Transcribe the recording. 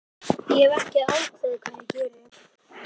Ég hef ekki ákveðið hvað ég geri